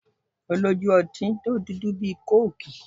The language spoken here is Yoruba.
Ó lójú ọtí tó dúdú tó kóòkì